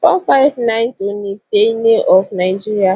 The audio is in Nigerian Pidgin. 459 toni payne of nigeria